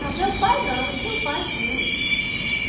Não, meu pai não, seu pai sim.